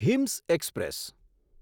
હિમ્સ express